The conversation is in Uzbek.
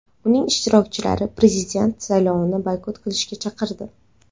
Uning ishtirokchilari prezident saylovini boykot qilishga chaqirdi.